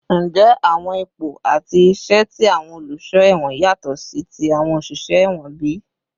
Njẹ awọn ipo ati iṣẹ ti awọn oluṣọ ẹwọn yatọ si ti awọn oṣiṣẹ ẹwọn bi?